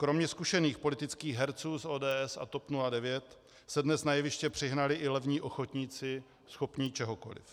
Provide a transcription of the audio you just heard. Kromě zkušených politických herců z ODS a TOP 09 se dnes na jeviště přihnali i levní ochotníci, schopní čehokoliv.